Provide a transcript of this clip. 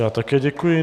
Já také děkuji.